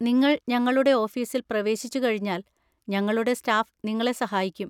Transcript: നിങ്ങൾ ഞങ്ങളുടെ ഓഫീസിൽ പ്രവേശിച്ചുകഴിഞ്ഞാൽ ഞങ്ങളുടെ സ്റ്റാഫ് നിങ്ങളെ സഹായിക്കും.